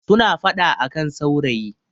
suna fada a kan saurayi